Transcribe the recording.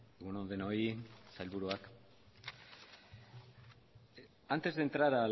egun on denoi sailburuak antes de entrar